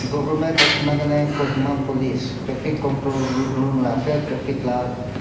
Government of Nagaland Kohima Police Traffic control ro room la ase traffic la--